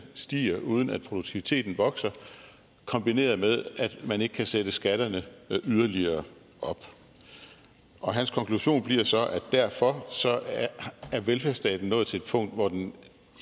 stiger uden at produktiviteten vokser kombineret med at man ikke kan sætte skatterne yderligere op og hans konklusion bliver så at derfor er velfærdsstaten nået til et punkt hvor den